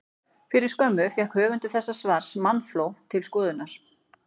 Fyrir skömmu fékk höfundur þessa svars mannafló til skoðunar.